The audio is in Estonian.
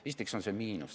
Esiteks on see miinus.